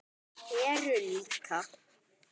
Heru líka.